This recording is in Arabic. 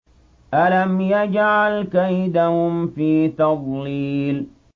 أَلَمْ يَجْعَلْ كَيْدَهُمْ فِي تَضْلِيلٍ